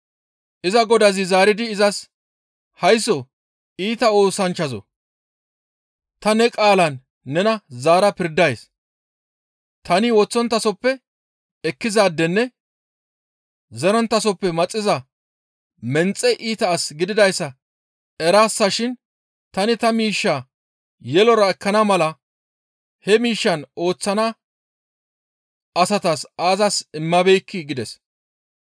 «Iza godazi zaaridi izas, ‹Haysso iita oosanchchazoo! Ta ne qaalan nena zaara pirdays. Tani woththonttasoppe ekkizaadenne zeronttasoppe maxiza menxe iita as gididayssa eraasashin tani ta miishshaa yelora ekkana mala he miishshaan ooththana asatas aazas immabeekkii?› gides.